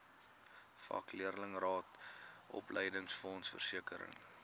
vakleerlingraad opleidingsfonds versekering